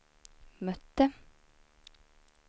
mötte